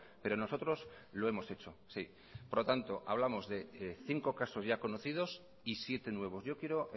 pero nosotros lo hemos hecho sí por lo tanto hablamos de cinco casos ya conocidos y siete nuevos yo quiero